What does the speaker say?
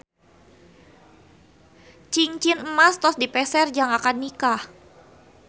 Cingcin emas tos dipeser jang akad nikah